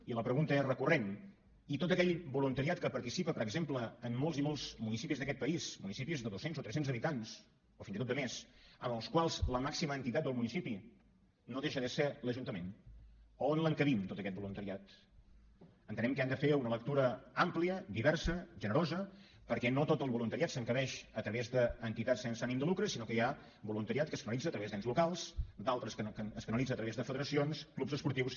i la pregunta és recurrent i tot aquell voluntariat que participa per exemple en molts i molts municipis d’aquest país municipis de doscents o trescents habitants o fins i tot de més en els quals la màxima entitat del municipi no deixa de ser l’ajuntament on l’encabim tot aquest voluntariat entenem que han de fer una lectura àmplia diversa generosa perquè no tot el voluntariat s’encabeix a través d’entitats sense ànim de lucre sinó que hi ha voluntariat que es canalitza a través d’ens locals d’altre que es canalitza a través de federacions clubs esportius